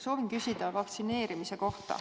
Soovin küsida vaktsineerimise kohta.